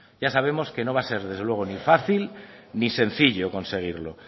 ya sabemos que no va a ser desde luego ni fácil ni sencillo conseguirlo